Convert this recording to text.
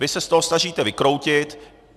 Vy se z toho snažíte vykroutit.